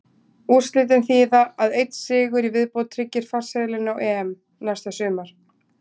Úrslitin þýða að einn sigur í viðbót tryggir farseðilinn á EM næsta sumar.